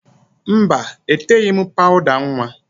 Mba, eteghi m pawụda nwa